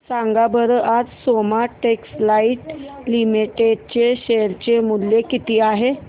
सांगा बरं आज सोमा टेक्सटाइल लिमिटेड चे शेअर चे मूल्य किती आहे